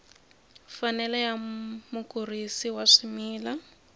mfanelo ya mukurisi wa swimila